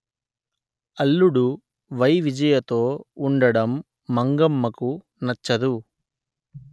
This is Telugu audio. అల్లుడు వైవిజయ తో ఉండటం మంగమ్మకు నచ్చదు